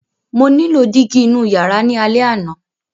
Mo nílò dígí inú ìyàrá ní alẹ́ àná!